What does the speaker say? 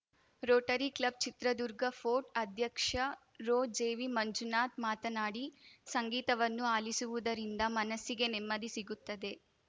Rotary club Chitradurga fort ಅಧ್ಯಕ್ಷ ರೊಜೆವಿಮಂಜುನಾಥ್‌ ಮಾತನಾಡಿ ಸಂಗೀತವನ್ನು ಆಲಿಸುವುದರಿಂದ ಮನಸ್ಸಿಗೆ ನೆಮ್ಮದಿ ಸಿಗುತ್ತದೆ